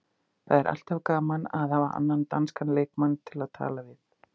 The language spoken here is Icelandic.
Það er alltaf gaman að hafa annan danskan leikmann til að tala við.